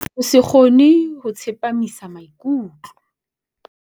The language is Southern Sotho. Ho se kgone ho tsepamisa maikutlo.